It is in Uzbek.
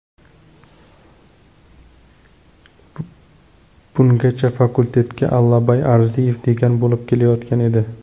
Bungachafakultetga Allabay Arziyev dekan bo‘lib kelayotgan edi.